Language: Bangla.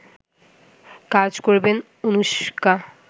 কাজ করবেন অনুশকা